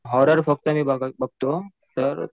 horror फक्त मी बघतो तर